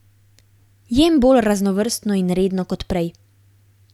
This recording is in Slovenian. Jem bolj raznovrstno in redno kot prej.